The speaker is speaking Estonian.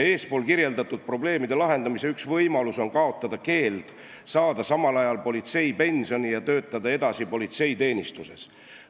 Eespool kirjeldatud probleemide lahendamise üks võimalus on kaotada keeld saada samal ajal politseipensioni ja töötada edasi politseiteenistuses.